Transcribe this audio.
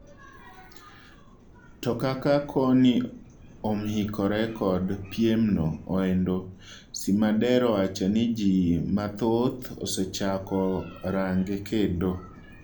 To kak koni omhikore kod piem no endo, Simader owacho ni jii mathoth osechako range kendo.